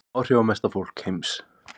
Áhrifamesta fólk heims